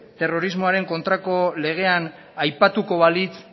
terrorismoaren kontrako legean aipatuko balitz